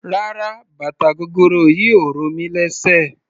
Rárá bàtà gogoro yìí ò ro mí lésè.